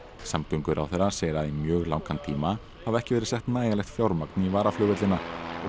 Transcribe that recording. samgönguráðherra segir að í mjög langan tíma hafi ekki verið sett nægjanlegt fjármagn í varaflugvellina